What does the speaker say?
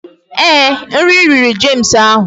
Ee, nri riri James ahụ